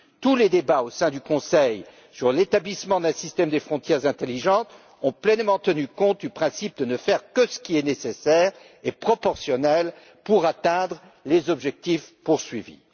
Tous les débats au sein du Conseil sur l'établissement d'un système de frontières intelligentes ont pleinement tenu compte du principe de ne faire que ce qui est nécessaire et proportionnel pour atteindre les objectifs poursuivis.